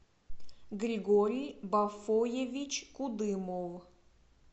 григорий бафоевич кудымов